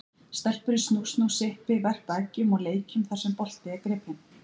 Stelpur í snú-snú, sippi, verpa eggjum og leikjum þar sem bolti er gripinn.